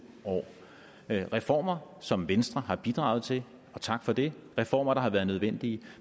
år reformer som venstre har bidraget til og tak for det reformer der har været nødvendige